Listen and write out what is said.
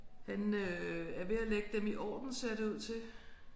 Han øh er ved at lægge dem i orden ser det ud til